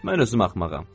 Mən özüm axmağam.